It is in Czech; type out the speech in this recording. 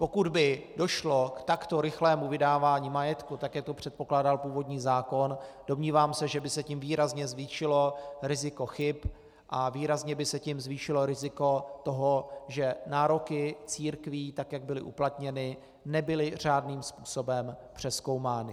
Pokud by došlo k takto rychlému vydávání majetku, tak jak to předpokládal původní zákon, domnívám se, že by se tím výrazně zvýšilo riziko chyb a výrazně by se tím zvýšilo riziko toho, že nároky církví, tak jak byly uplatněny, nebyly řádným způsobem přezkoumány.